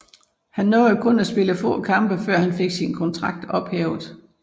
Han nåede kun at spille få kampe før han fik sin kontrakt ophævet